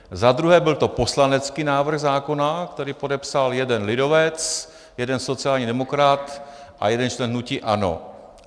Za druhé, byl to poslanecký návrh zákona, který podepsal jeden lidovec, jeden sociální demokrat a jeden člen hnutí ANO.